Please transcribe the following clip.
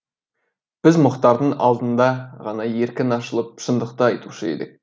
біз мұхтардың алдында ғана еркін ашылып шындықты айтушы едік